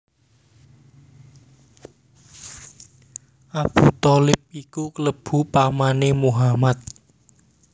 Abu Tholib iku klebu pamané Muhammad